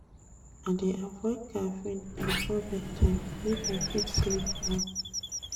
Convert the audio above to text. I dey avoid caffeine before bedtime make I fit sleep well.